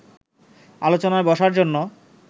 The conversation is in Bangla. আলোচনায় বসার জন্য